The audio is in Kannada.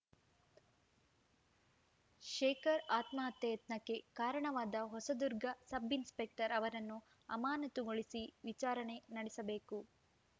ಶೇಖರ್‌ ಆತ್ಮಹತ್ಯೆ ಯತ್ನಕ್ಕೆ ಕಾರಣವಾದ ಹೊಸದುರ್ಗ ಸಬ್‌ಇನ್‌ಸ್ಪೆಕ್ಟರ್‌ ಅವರನ್ನು ಅಮಾನತುಗೊಳಿಸಿ ವಿಚಾರಣೆ ನಡೆಸಬೇಕು